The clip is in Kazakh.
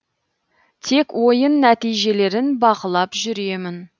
тек ойын нәтижелерін бақылап жүремін